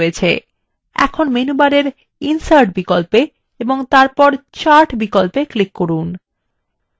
এখন মেনুবারে insert বিকল্পে click করুন এবং তারপর chart বিকল্পে click করুন